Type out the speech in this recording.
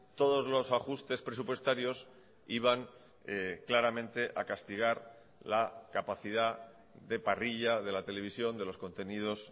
todos los ajustes presupuestarios iban claramente a castigar la capacidad de parrilla de la televisión de los contenidos